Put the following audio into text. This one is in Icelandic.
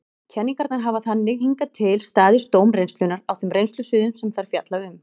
Kenningarnar hafa þannig hingað til staðist dóm reynslunnar á þeim reynslusviðum sem þær fjalla um.